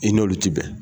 I n'olu tɛ bɛn